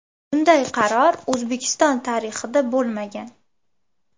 Bunday qaror O‘zbekiston tarixida bo‘lmagan.